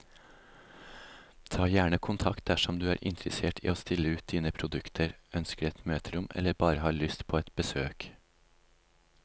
Ta gjerne kontakt dersom du er interessert i å stille ut dine produkter, ønsker et møterom eller bare har lyst på et besøk.